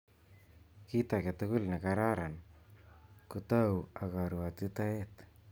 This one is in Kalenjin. Kit age tugul ne kararan ko tou ak karuotitoet